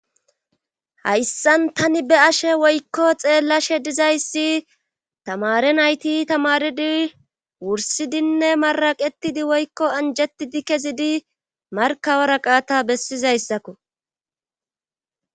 Hayssan tani be ashe woykko xeellashe dizayssi tamare nayti tamaridi wursidinne maraqetidi woykko anjetidi kezidi markawara qaata bessizayssakko.